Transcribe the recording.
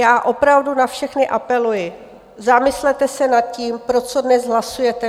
Já opravdu na všechny apeluji, zamyslete se nad tím, pro co dnes hlasujete.